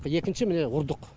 екінші міне ұрдық